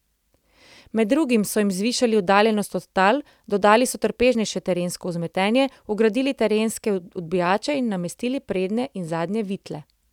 Med drugim so jim zvišali oddaljenost od tal, dodali so trpežnejše terensko vzmetenje, vgradili terenske odbijače in namestili prednje in zadnje vitle.